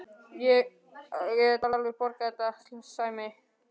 Ég get alveg borgað þetta, Sæmi.